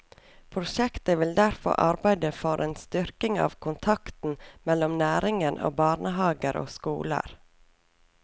Prosjektet vil derfor arbeide for en styrking av kontakten mellom næringen og barnehager og skoler.